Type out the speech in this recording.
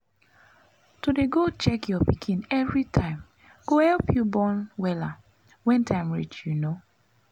to dey go check your pikin evri time go epp u born wella wen time reach u no?